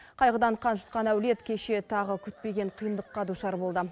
қайғыдан қан жұтқан әулет кеше тағы күтпеген қиындыққа душар болды